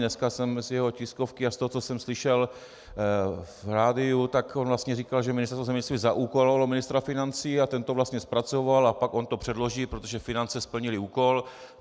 Dneska jsem z jeho tiskovky a z toho, co jsem slyšel v rádiu, tak on vlastně říkal, že Ministerstvo zemědělství zaúkolovalo ministra financí a ten to vlastně zpracoval, a pak on to předloží, protože finance splnily úkol.